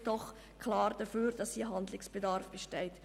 Das spricht doch klar dafür, dass hier Handlungsbedarf besteht.